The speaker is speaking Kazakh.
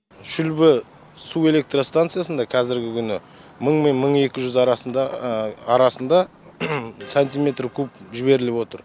шүлбі су электро станциясында қазіргі күні мың мен мың екі жүз арасында арасында сантиметр куб жіберіліп отыр